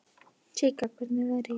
Sigga, hvernig er veðrið í dag?